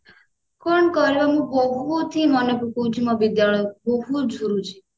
କଣ କରିବା ମୁଁ ବହୁତ ହିଁ ମନେ ପକଉଛି ମୋ ବିଦ୍ୟାଳୟକୁ ବହୁତ ଝୁରୁଛି